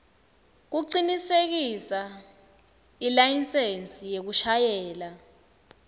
kucinisekisa ilayisensi yekushayela